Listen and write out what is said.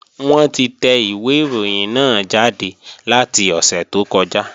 Wọ́n ti tẹ ìwé ìròyìn náà jáde láti ọ̀sẹ̀ tó kọjá